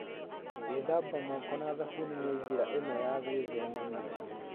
Gwĩthamba moko na thabuni nĩ njĩra ĩmwe ya gwĩthema mĩrimũ.